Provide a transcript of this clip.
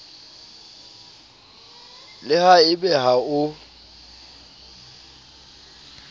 le ha ebe ha o